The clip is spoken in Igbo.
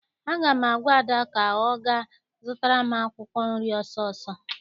Aga m agwa Ada ka ọ gaa zụtara m akwụkwọ nri ọsọọsọ!